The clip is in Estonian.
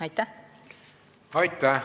Aitäh!